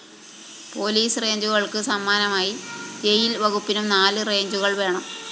police റേഞ്ചുകള്‍ക്ക് സമാനമായി jail‍ വകുപ്പിനും നാല് റേഞ്ചുകള്‍ വേണം